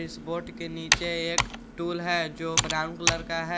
इस बोर्ड के नीचे एक स्टूल है जो ब्राउन कलर का है।